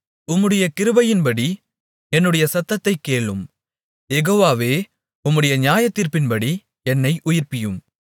உம்முடைய கிருபையின்படி என்னுடைய சத்தத்தைக் கேளும் யெகோவாவே உம்முடைய நியாயத்தீர்ப்பின்படி என்னை உயிர்ப்பியும்